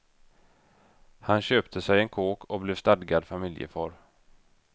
Han köpte sig en kåk och blev stadgad familjefar.